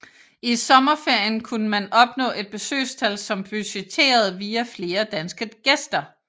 I sommerferien kunne man opnå et besøgstal som budgetteret via flere danske gæster